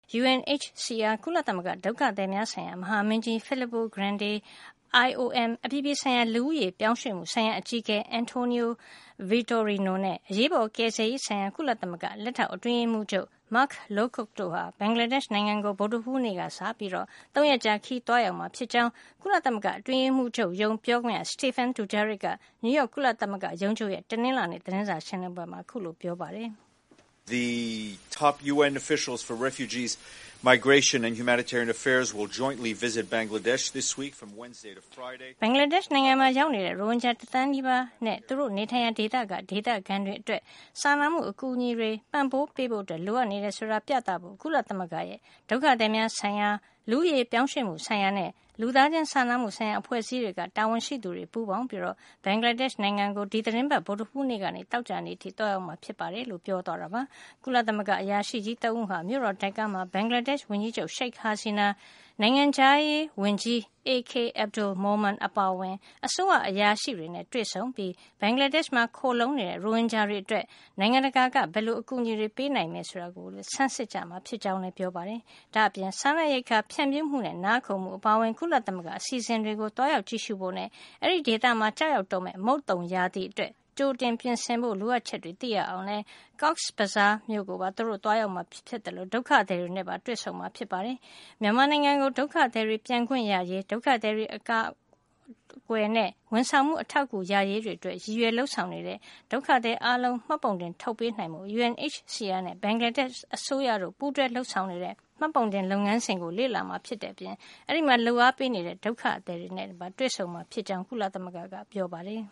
UNHCR ကုလသမဂ္ဂ ဒုက္ခသည်များဆိုင်ရာ မဟာမင်းကြီး Filippo Grandi ၊ IOM အပြည်ပြည်ဆိုင်ရာ လူဦးရေပြောင်းရွှေ့မှုဆိုင်ရာ အကြီးအကဲ António Vitorino နဲ့ အရေးပေါ်ကယ်ဆယ်ရေးဆိုင်ရာ ကုလသမဂ္ဂ လက်ထောက်အတွင်းရေးမှူးချုပ် Mark Lowcock တို့ဟာ ဘင်္ဂလားဒေ့ရှ် နိုင်ငံကို ဗုဒ္ဓဟူးနေ့က စပြီး ၃ ရက်ကြာ ခရီး သွားရောက်မှာ ဖြစ်ကြောင်း ကုလသမဂ္ဂအတွင်းရေးမှူးချုပ်ရုံး ပြောခွင့်ရ Stephane Dujarric က နယူးရောက် ကုလသမဂ္ဂရုံးချုပ်ရဲ့ တနင်္လာနေ့ သတင်းစာရှင်းလင်းပွဲမှာ ပြောပါတယ်။ “ဘင်္ဂလားဒေ့ရှ်နိုင်ငံမှာ ရောက်နေတဲ့ ရိုဟင်ဂျာ တသန်းနီးပါးနဲ့ သူတို့နေထိုင်ရာ ဒေသက ဒေသခံတွေအတွက် စာနာမှုအကူအညီတွေ ပံ့ပိုးပေးဖို့ လိုအပ်နေတယ် ဆိုတာကို ပြသဖို့ ကုလသမဂ္ဂရဲ့ ဒုက္ခသည်များဆိုင်ရာ၊ လူဦးရေပြောင်းရွှေ့မှုဆိုင်ရာနဲ့ လူသားချင်းစာနာမှုဆိုင်ရာ အဖွဲ့အစည်းတွေက တာဝန်ရှိသူတွေ ပူးပေါင်းပြီး ဘင်္ဂလားဒေ့ရှ်နိုင်ငံကို ဒီသီတင်းပတ် ဗုဒ္ဓဟူးနေ့ကနေ သောကြာနေ့အထိ သွားရောက်မှာ ဖြစ်ပါတယ်။” လို့ ပြောသွားတာပါ။ ကုလသမဂ္ဂ အရာရှိကြီး ၃ ဦးဟာ မြို့တော် ဒါကာမှာ ဘင်္ဂလားဒေ့ရှ် ဝန်ကြီးချုပ် Sheikh Hasina နိုင်ငံခြားရေးဝန်ကြီး A.K Abdul Momen အပါအဝင် အစိုးရ အရာရှိတွေနဲ့ တွေ့ဆုံပြီး ဘင်္ဂလားဒေ့ရှ်မှာ ခိုလှုံနေတဲ့ ရိုဟင်ဂျာတွေ အတွက် နိုင်ငံတကာက ဘယ်လို အကူအညီတွေ ပေးအပ်နိုင်မယ်ဆိုတာကို ဆန်းစစ်ကြမှာ ဖြစ်ကြောင်းလည်း ပြောပါတယ်။ ဒါ့အပြင် စားနပ်ရိက္ခာ ဖြန့်ဖြူးမှုနဲ့ နားခိုမှုအပါအဝင် ကုလသမဂ္ဂရဲ့ အစီအစဉ်တွေကို သွားရောက်ကြည့်ရှုဖို့ နဲ့ အဲဒီဒေသမှာ ကျရောက် တော့မယ့် မုတ်သုန်ရာသီအတွက် ကြိုတင်ပြင်ဆင်ဖို့ လိုအပ်ချက်တွေကို သိရအောင်လည်း Cox’s Bazar ကိုပါ သူတို့ သွားရောက်မှာ ဖြစ်သလို ဒုက္ခသည်တွေနဲ့ တွေ့ဆုံမှာ ဖြစ်ပါတယ်။ မြန်မာနိုင်ငံကို ဒုက္ခသည်တွေ ပြန်ခွင့်ရရေး၊ ဒုက္ခသည်တွေ အကာကွယ်နဲ့ ဝန်ဆောင်မှု အထောက်ကူ ရရေး တွေအတွက် ရည်ရွယ် လုပ်ဆောင်နေတဲ့ ဒုက္ခသည်အားလုံးကို မှတ်ပုံတင်ထုတ်ပေးနိုင်ဖို့ UNHCR နဲ့ ဘင်္ဂလားဒေ့ရှ် အစိုးရတို့ ပူးတွဲ လုပ်ဆောင်နေတဲ့ မှတ်ပုံတင် လုပ်ငန်းစဉ်ကို လေ့လာမှာ ဖြစ်တဲ့အပြင် အဲဒီမှာ လုပ်အားပေးနေတဲ့ ဒုက္ခသည်တွေနဲ့ပါ တွေ့ဆုံမှာ ဖြစ်ကြောင်း ကုလသမဂ္ဂက ပြောပါတယ်